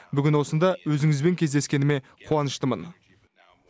бүгін осында өзіңізбен кездескеніме қуаныштымын